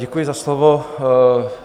Děkuji za slovo.